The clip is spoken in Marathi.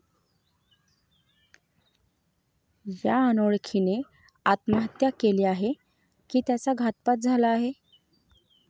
या अनोळखीने आत्महत्या केली आहे की त्याचा घातपात झाला आहे?